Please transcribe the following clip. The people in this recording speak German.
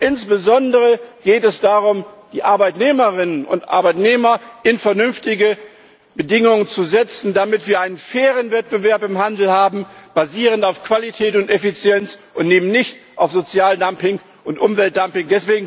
Insbesondere geht es darum, die Arbeitnehmerinnen und Arbeitnehmer in vernünftige Bedingungen zu setzen, damit wir einen fairen Wettbewerb im Handel haben, basierend auf Qualität und Effizienz und eben nicht auf Sozialdumping und Umweltdumping.